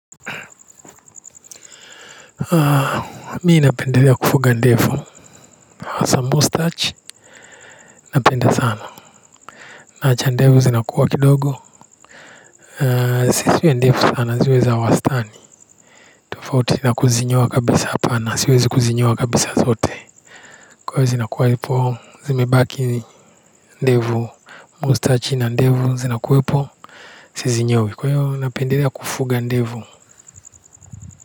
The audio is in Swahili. Mimi napendelea kufuga ndevu hasa mustachi napenda sana naacha ndevu zinakua kidogo na zisiwe ndefu sana ziwe na wastani tofauti na kuzinyoa kabisa hapana siwezi kuzinyoa kabisa zote kwaiyo zinauwa zipo zimebaki ndevu mustachi na ndevu zinakuwepo sizinyoi kwaiyo napendelea kufuga ndevu.